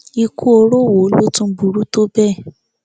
ikú oró wo ló tún burú tó bẹẹ